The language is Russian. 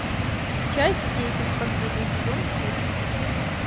часть десять последний сезон путь